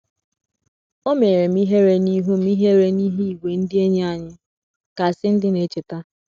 “ O menyere m ihere n’ihu m ihere n’ihu ìgwè ndị enyi anyị, ” ka Cindy na - echeta.